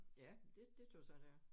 Ja men det det tøs jeg det er